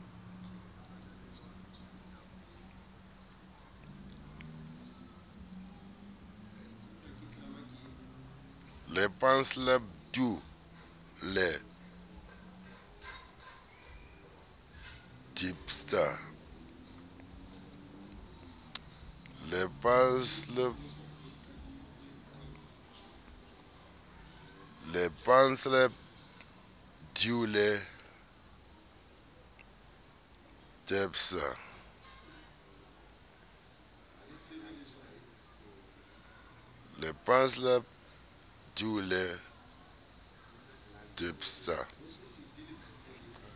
le pansalb doe le dpsa